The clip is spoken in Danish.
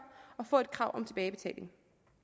og få et krav om tilbagebetaling